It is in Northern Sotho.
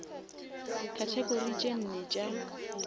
category tše nne tša